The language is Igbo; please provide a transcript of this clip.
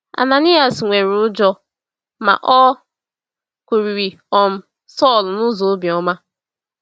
Ananias nwere ụjọ, ma o kwurịrị um Saulu n’ụzọ obiọma.